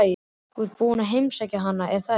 Þú ert búinn að heimsækja hana, er það ekki?